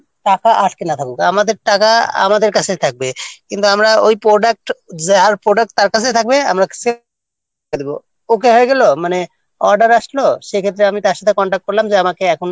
টাকা আটকে না থাকুক আমাদের টাকা আমাদের কাছেই থাকবে কিন্তু আমরা ওই product যার product তার কাছেই থাকবে আমরা sale টাকা দেব ওকে হয়ে গেল মানে order আসল সেক্ষেত্রে আমি তার সাথে contact করলাম যে আমাকে এখন